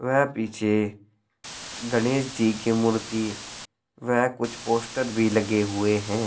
व पीछे गणेश जी की मूर्ति व कुछ पोस्टर भी लगे हुए हैं।